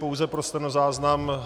Pouze pro stenozáznam.